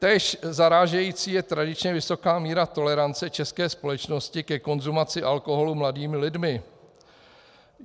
Též zarážející je tradičně vysoká míra tolerance české společnosti ke konzumaci alkoholu mladými lidmi.